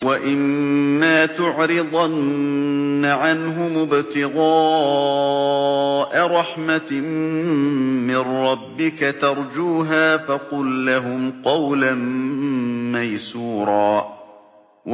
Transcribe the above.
وَإِمَّا تُعْرِضَنَّ عَنْهُمُ ابْتِغَاءَ رَحْمَةٍ مِّن رَّبِّكَ تَرْجُوهَا فَقُل لَّهُمْ قَوْلًا مَّيْسُورًا